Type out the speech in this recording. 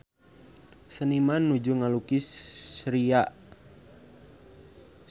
Seniman nuju ngalukis Syria